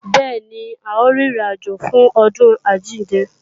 Bẹ́ẹ̀ni, a ó rin ìrìn àjò fún ọdún àjíǹde